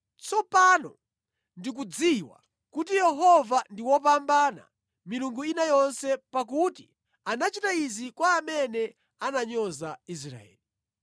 Tsopano ndikudziwa kuti Yehova ndi wopambana milungu ina yonse, pakuti anachita izi kwa amene ananyoza Israeli.”